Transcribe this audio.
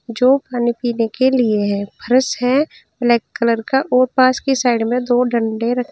जो खाने पीने के लिए है फ्रेश है ब्लैक कलर का और पास की साइड में दो डंडे र--